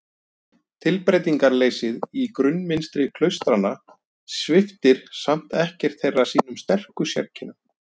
Tilbreytingarleysið í grunnmynstri klaustranna sviptir samt ekkert þeirra sínum sterku sérkennum.